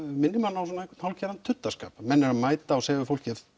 minnir mann á hálfgerðan tuddaskap menn eru að mæta og segja fólki